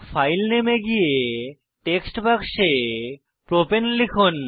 file নামে এ গিয়ে টেক্সট বাক্সে প্রপাণে লিখুন